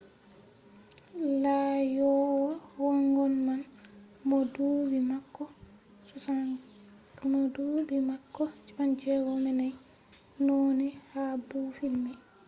laaƴowo waagon man mo duɓi maako 64 naunai ha boofil mai